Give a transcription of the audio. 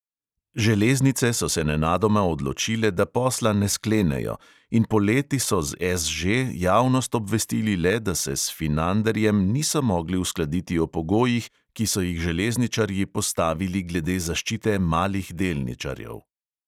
Železnice so se nenadoma odločile, da posla ne sklenejo, in poleti so z SŽ javnost obvestili le, da se s finanderjem niso mogli uskladiti o pogojih, ki so jih železničarji postavili glede zaščite malih delničarjev.